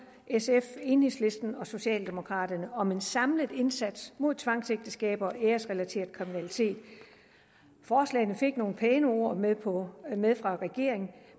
sf enhedslisten og socialdemokraterne om en samlet indsats mod tvangsægteskaber og æresrelateret kriminalitet forslaget fik nogle pæne ord med ord med fra regeringen